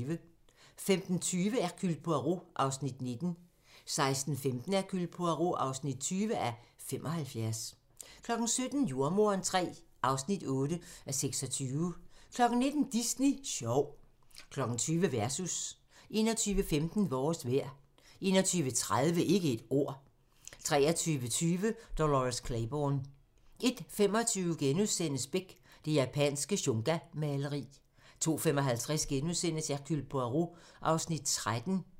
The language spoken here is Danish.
15:20: Hercule Poirot (19:75) 16:15: Hercule Poirot (20:75) 17:05: Jordemoderen III (8:26) 19:00: Disney Sjov 20:00: Versus 21:15: Vores vejr 21:30: Ikke et ord 23:20: Dolores Claiborne 01:25: Beck: Det japanske shungamaleri * 02:55: Hercule Poirot (13:75)*